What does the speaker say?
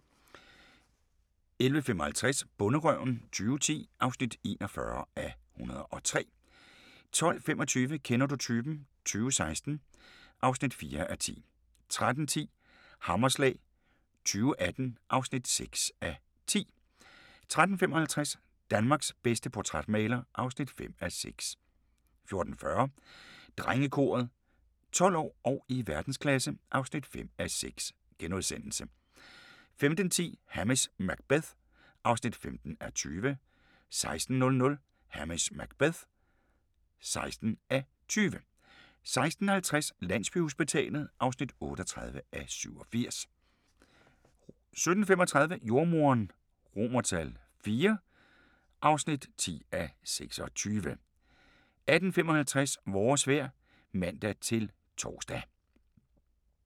11:55: Bonderøven 2010 (41:103) 12:25: Kender du typen? 2016 (4:10) 13:10: Hammerslag 2018 (6:10) 13:55: Danmarks bedste portrætmaler (5:6) 14:40: Drengekoret – 12 år og i verdensklasse (5:6)* 15:10: Hamish Macbeth (15:20) 16:00: Hamish Macbeth (16:20) 16:50: Landsbyhospitalet (38:87) 17:35: Jordemoderen III (10:26) 18:55: Vores vejr (man-tor)